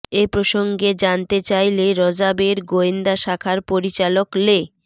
এ প্রসঙ্গে জানতে চাইলে র্যাবের গোয়েন্দা শাখার পরিচালক লে